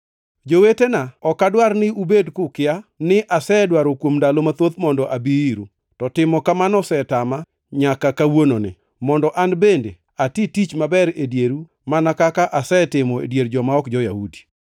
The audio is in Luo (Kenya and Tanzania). Jowetena, ok adwar ni ubed kukia, ni asedwaro kuom ndalo mathoth mondo abi iru, to timo kamano osetama nyaka kawuononi, mondo an bende ati tich maber e dieru mana kaka asetimo e dier joma ok jo-Yahudi.